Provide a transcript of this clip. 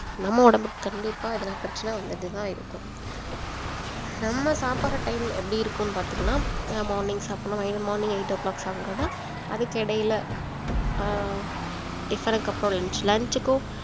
நம்ம உடம்புக்கு கண்டிப்பா எதனா பிரச்சினை வந்துட்டே தான் இருக்கும் நம்ம சாப்பிடுற time எப்படி இருக்கும் பாத்தீங்கனா நம்ம morning சாப்பிடணும் morning eight o clock சாப்பிடுறோம்னா அதுக்கிடையில அஹ் v க்கு அப்புறம் lunch lunch க்கும்